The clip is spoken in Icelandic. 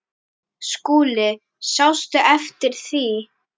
SKÚLI: Sástu eftir því?